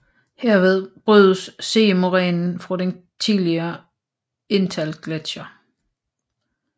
Herved brydes sidemorænen fra den tidligere Inntalgletscher